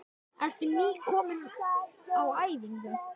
Hödd: Ertu nýkominn á æfingu?